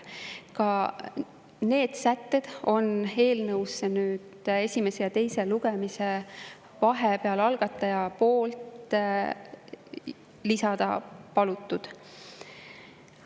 Ka need sätted on eelnõusse esimese ja teise lugemise vahepeal algataja poolt lisada palutud.